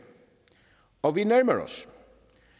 og vi nærmer os